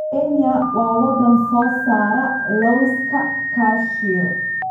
Kenya waa wadan soo saara lawska cashew.